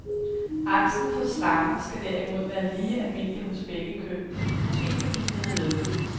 Angsten for slanger skal derimod være lige almindelig hos begge køn, måske fordi den er medfødt.